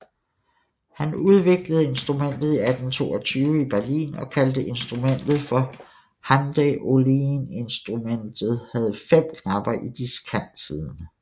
Han udviklede instrumentet i 1822 i Berlin og kaldte instrumentet for handaeolineInstrumentet havde 5 knapper i diskantsiden